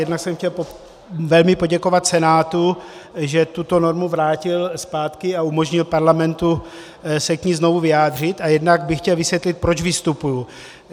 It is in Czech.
Jednak jsem chtěl velmi poděkovat Senátu, že tuto normu vrátil zpátky a umožnil parlamentu se k ní znovu vyjádřit, a jednak bych chtěl vysvětlit, proč vystupuji.